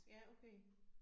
Ja okay